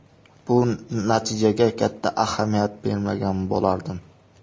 Bu natijaga katta ahamiyat bermagan bo‘lardim.